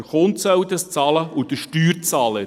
Der Kunde soll dies bezahlen, und der Steuerzahler.